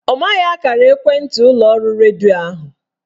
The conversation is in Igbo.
Ọ maghị akara ekwentị ụlọọrụ redio ahụ